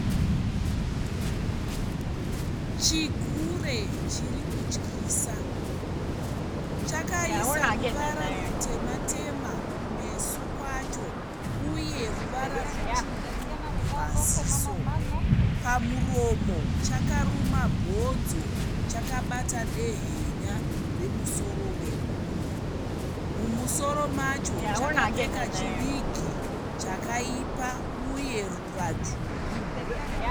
Chigure chirikutyisa chakaisa ruvara rutema-tema kumeso kwacho uye ruvara rwutsvuku mumaziso. Pamuromo chakaruma bhonzo, chabata dehenya remusoro wemunhu. Chakapfeka chiwigi chakaipa uye ruva dzvuku.